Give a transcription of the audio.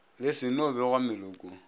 le se no begwa melokong